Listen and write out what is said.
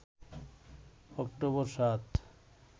October ৭